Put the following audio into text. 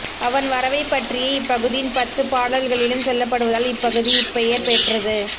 அவன் வரவைப் பற்றியே இப்பகுதியின் பத்துப் பாடல்களிலும் சொல்லப்படுவதால் இப்பகுதி இப்பெயர் பெற்றது